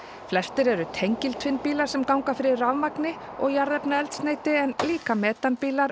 flestir eru tengil tvinnbílar sem ganga fyrir rafmagni og jarðefnaeldsneyti en líka metanbílar